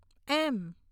એમ